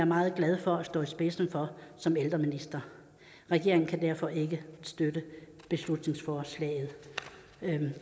meget glad for at stå i spidsen for som ældreminister regeringen kan derfor ikke støtte beslutningsforslaget